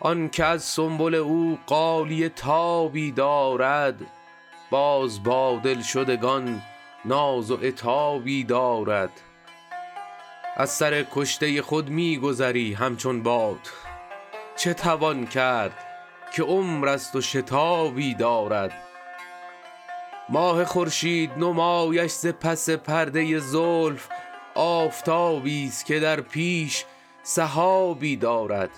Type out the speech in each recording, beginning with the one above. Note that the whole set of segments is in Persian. آن که از سنبل او غالیه تابی دارد باز با دلشدگان ناز و عتابی دارد از سر کشته خود می گذری همچون باد چه توان کرد که عمر است و شتابی دارد ماه خورشید نمایش ز پس پرده زلف آفتابیست که در پیش سحابی دارد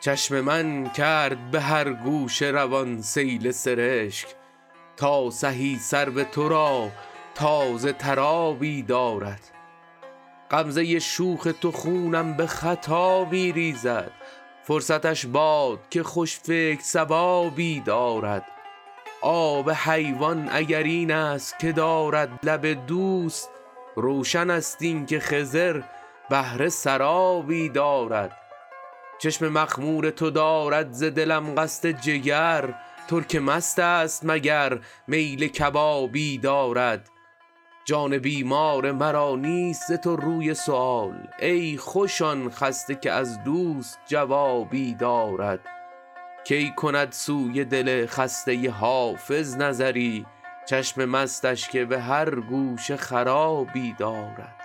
چشم من کرد به هر گوشه روان سیل سرشک تا سهی سرو تو را تازه تر آبی دارد غمزه شوخ تو خونم به خطا می ریزد فرصتش باد که خوش فکر صوابی دارد آب حیوان اگر این است که دارد لب دوست روشن است این که خضر بهره سرابی دارد چشم مخمور تو دارد ز دلم قصد جگر ترک مست است مگر میل کبابی دارد جان بیمار مرا نیست ز تو روی سؤال ای خوش آن خسته که از دوست جوابی دارد کی کند سوی دل خسته حافظ نظری چشم مستش که به هر گوشه خرابی دارد